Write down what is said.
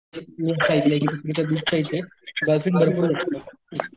मी असं ऐकलंय कि तुमच्या बीच च्या इथे डॉल्फिन भरपूर दिसतात.